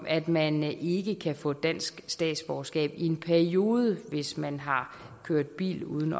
at man ikke kan få dansk statsborgerskab i en periode hvis man har kørt bil uden